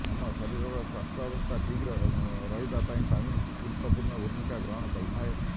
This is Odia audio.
ଆମ ଶରୀରର ସ୍ୱାସ୍ଥ୍ୟାବସ୍ଥା ଠିକ୍ ରହିବା ପାଇଁ ପାଣି ଗୁରୁତ୍ୱପୁର୍ଣ୍ଣ ଭୂମିକା ଗ୍ରହଣ କରିଥାଏ